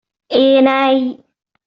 Eh na yi.